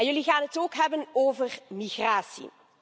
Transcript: Jullie gaan het ook hebben over migratie.